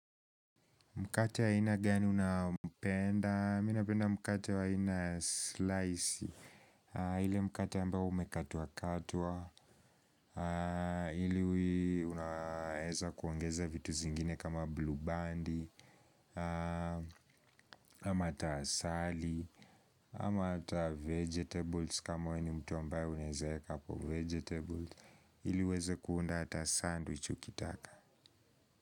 Mkate wa aina gani unayoipenda, mimi napenda mkate wa aina ya vipande. Ule mkate ambao umekatwakatwa. Unaeza kuongeza vitu zingine kama bluu bandi, ama hata asali, ama hata mboga kama wewe ni mtu ambaye uneweza hapo mboga. Ili uweze kuunda hata sandwichi ukitaka.